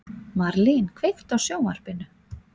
Marlín, kveiktu á sjónvarpinu.